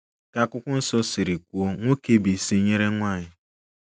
Ka akwụkwọ nsọ siri kwuo, "nwoke bụ isi nyere nwanyị".